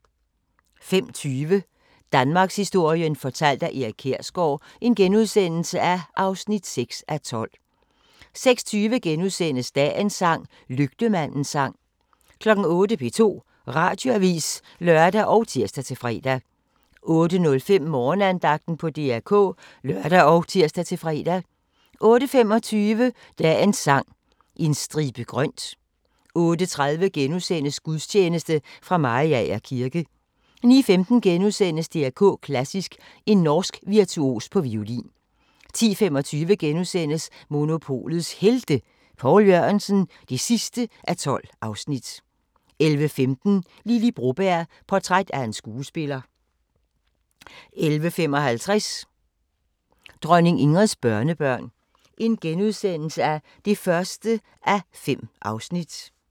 05:20: Danmarkshistorien fortalt af Erik Kjersgaard (6:12)* 06:20: Dagens sang: Lygtemandens sang * 08:00: P2 Radioavis (lør og tir-fre) 08:05: Morgenandagten på DR K (lør og tir-fre) 08:25: Dagens Sang: En stribe grønt 08:30: Gudstjeneste fra Mariager kirke * 09:15: DR K Klassisk: En norsk virtuos på violin * 10:25: Monopolets Helte – Poul Jørgensen (12:12)* 11:15: Lily Broberg – portræt af en skuespiller 11:55: Dronning Ingrids børnebørn (1:5)*